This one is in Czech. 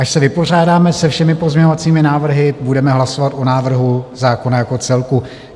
Až se vypořádáme se všemi pozměňovacími návrhy, budeme hlasovat o návrhu zákona jako celku.